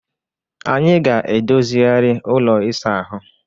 Anyị ga-edozigharị ụlọ ịsa ahụ.